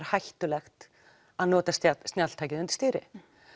hættulegt að nota snjalltæki undir stýri